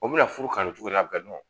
O bina na furu kanu cogodi an